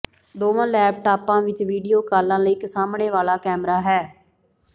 ਦੋਵਾਂ ਲੈਪਟਾਪਾਂ ਵਿੱਚ ਵੀਡੀਓ ਕਾਲਾਂ ਲਈ ਇੱਕ ਸਾਹਮਣੇ ਵਾਲਾ ਕੈਮਰਾ ਹੈ